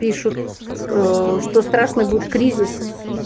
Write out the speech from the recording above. пишут ээ что страшный будет кризис